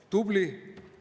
Tubli!